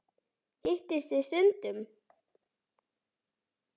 Hittist þið stundum?